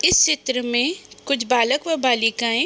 इस चित्र मे कुछ बालक और बलिकायें --